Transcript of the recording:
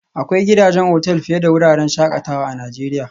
Akwai gidajen otal fiye da wuraren shakatawa a Najeriya